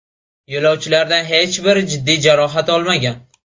Yo‘lovchilardan hech biri jiddiy jarohat olmagan.